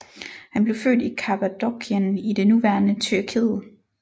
Han blev født i Kappadokien i det nuværende Tyrkiet